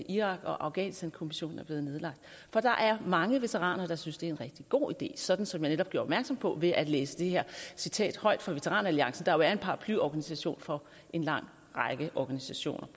irak og afghanistankommissionen er blevet nedlagt for der er mange veteraner der synes det er en rigtig god idé sådan som jeg netop gjorde opmærksom på ved at læse det her citat højt fra veteran alliancen der jo er en paraplyorganisation for en lang række organisationer